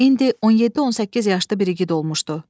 İndi on yeddi-on səkkiz yaşda bir igid olmuşdu.